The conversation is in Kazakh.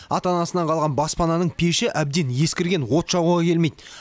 ата анасынан қалған баспананың пеші әбден ескірген от жағуға келмейді